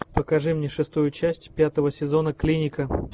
покажи мне шестую часть пятого сезона клиника